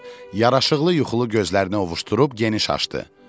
Yaraşıqlı yuxulu gözlərini ovușdurub geniş açdı.